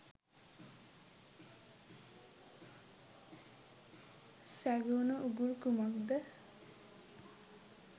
සැඟවුණු උගුල් කුමක්ද